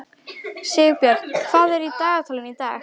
Sigbjörn, hvað er í dagatalinu í dag?